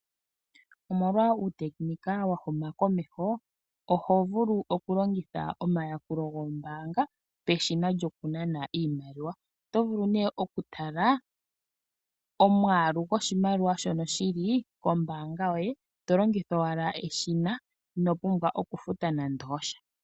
Omolwa uutekinika wahuma komeho ohovulu okulongitha omayakulo gombaanga peshina lyokunana iimaliwa, otovulu nee okutala omwaalu goshimaliwa shono shili kombaanga yoye tolongitha owala eshina inopumbwa okufuta nande osha.